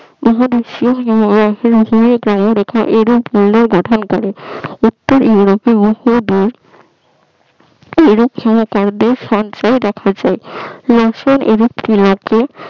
গঠন করে উত্তর ইউরোপে বহুদূর সঞ্চয় রাখা যায়